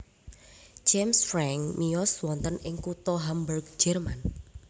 James Franck miyos wonten ing kutha Hamburg Jerman